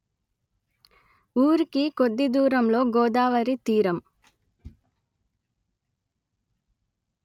ఊరికి కొద్ది దూరంలో గోదావరి తీరం